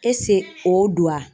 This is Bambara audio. o don wa ?